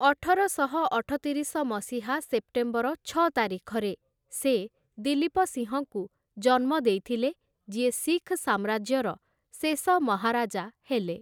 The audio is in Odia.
ଅଠରଶହ ଅଠତିରିଶ ମସିହା ସେପ୍ଟେମ୍ବର ଛଅ ତାରିଖରେ ସେ ଦିଲ୍ଲୀପ ସିଂହଙ୍କୁ ଜନ୍ମ ଦେଇଥିଲେ, ଯିଏ ଶିଖ ସାମ୍ରାଜ୍ୟର ଶେଷ ମହାରାଜା ହେଲେ ।